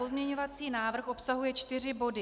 Pozměňovací návrh obsahuje čtyři body.